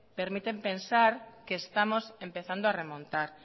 permiten pensar que estamos empezando a remontar